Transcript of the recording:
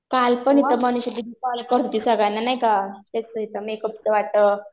कालपण इथं म्हणत होती होती सगळ्यांना नाही का इथं मेकअपचं